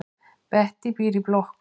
Bettý býr í blokk.